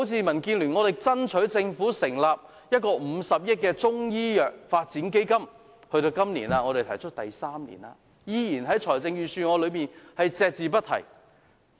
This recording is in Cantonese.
民建聯向政府爭取成立一個50億元的中醫藥發展基金，提出至今已是第三年，預算案依然隻字不提。